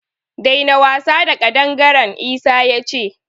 Daina wasa da ƙadangaren! Isa ya ce.